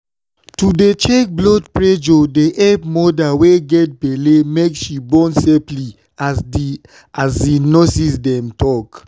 to dey check blood pressure dey epp moda wey get belle make she born safely as the um nurses dem tal